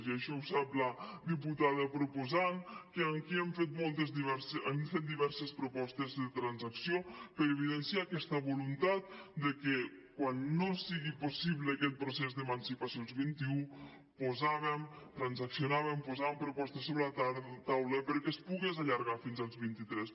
i això ho sap la diputada proposant que aquí hem fet diverses propostes de transacció per evidenciar aquesta voluntat de que quan no sigui possible aquest procés d’emancipació als vint i u transaccionàvem posàvem propostes sobre la taula perquè es pogués allargar fins als vint i tres